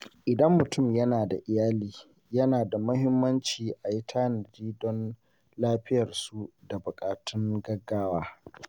Idan mutum yana da iyali, yana da muhimmanci ayi tanadi don lafiyarsu da buƙatun gaggawa.